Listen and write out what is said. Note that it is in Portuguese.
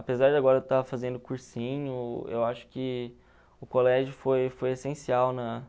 Apesar de agora eu estar fazendo cursinho, eu acho que o colégio foi foi essencial na